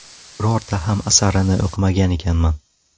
Birorta ham asarini o‘qimagan ekanman.